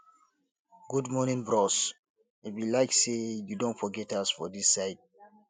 good morning bros e be like sey you don forget us for dis side